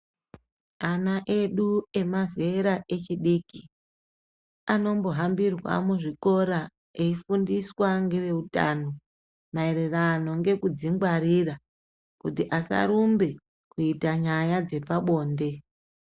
Ana edu nemazera echidiki Anombohambirwa muzvikora eifundiswa ngevehutano maererano nekudzingwarira kuti asa rumba kuita nyaya dzepabonde.